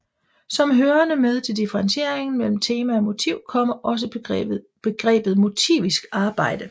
Som hørende med til differentieringen mellem tema og motiv kommer også begrebet motivisk arbejde